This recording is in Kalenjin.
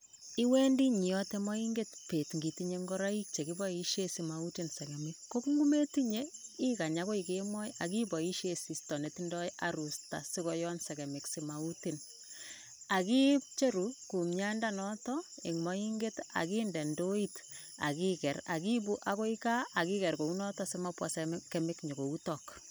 Iwendi nyiyatei mainget pet itinye ingoroik chekiboishe simautin segemik kongumetinye ikany akoi kemoi iboishesisto netindoi arusta sikoyon segemik simautinakicheru kumiandonotok in moinget akinde indoit ikiker akiibu akoi gaaakiker kounotok simabwa segemik koutok